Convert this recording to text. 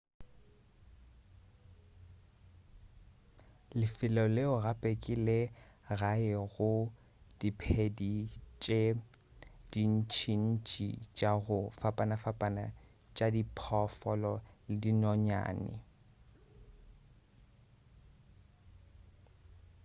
lefelo leo gape ke le gae go diphedi tše dintšintši tša go fapafapana tša diphoofolo le dinonyane